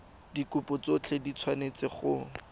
dikopo tsotlhe di tshwanetse go